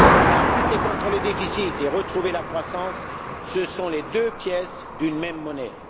Car lutter contre les déficits et retrouver la croissance, ce sont les deux faces d'une même pièce.